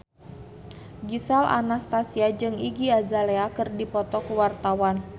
Gisel Anastasia jeung Iggy Azalea keur dipoto ku wartawan